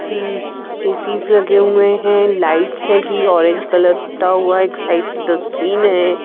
मम्म्म ACs लगे हुए हैं लाइट्स हैगी ऑरेंज कलर ता हुआ एक साइड से डस्टबिन है।